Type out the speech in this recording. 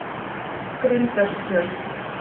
Grundartjörn